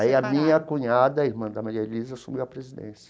Aí a minha cunhada, a irmã da Maria Elisa, assumiu a presidência.